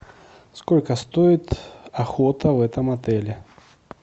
сколько стоит охота в этом отеле